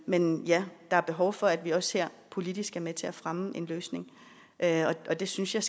men ja der er behov for at vi også her politisk er med til at fremme en løsning og det synes jeg